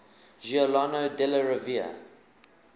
giuliano della rovere